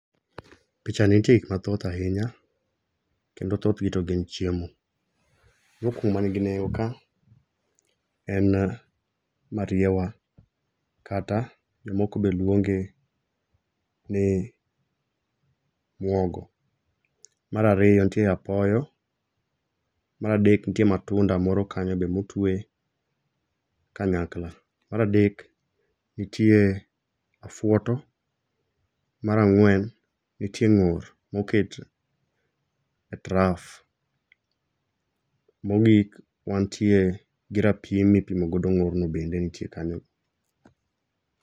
Picha ni ntie gik mathoth ahinya kendo thothgi to gin chiemo. mokwongo ma nigi nengo ka en mariewa kata jomoko be luonge ni mwogo .Mar ariyo ntie apoyo, mar adek ntie matunda moro kanyo be motue kanyakla, Mar adek ntie afuoto, mar ang'wen ntie ng'or moket e traf. Mogik, wantie gi rapim mipimo godo ng'or no bende ntie kanyo.